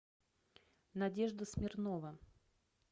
надежда смирнова